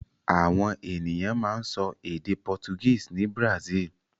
Àwọn ènìyàn máa ń sọ èdè Portuguese ní Brazil.